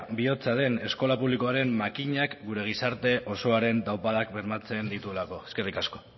bihotza den eskola publikoaren makinak gure gizarte osoaren taupadak bermatzen dituelako eskerrik asko